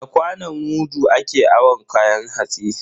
Da kwanon mudu ake awon kayan hatsi.